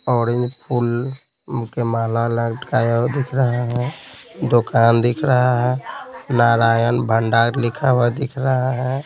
Orange फूल के माला लटकाया दिख रहा है दुकान दिख रहा है नारायण भंडार लिखा हुआ दिख रहा है।